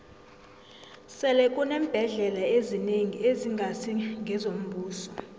sele kuneembhendlela ezinengi ezingasi ngezombuso